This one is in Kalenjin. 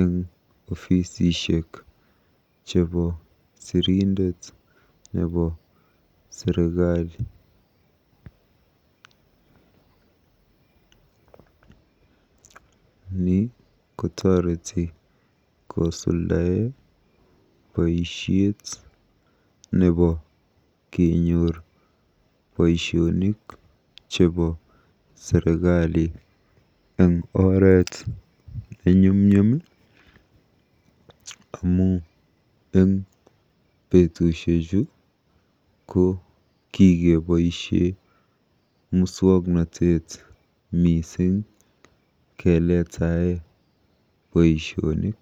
eng ofisishek chebo sirindet nebo serikali. Ni kotoreti kosuldae boisiet nebo kenyor boisionik chebo serikali eng oret nenyumnyum amu eng betusiechu ko kikeboisie muswoknotet mising keletae boisionik.